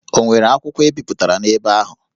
Ọ nwere akwụkwọ e bipụtara n'ebe ahụ?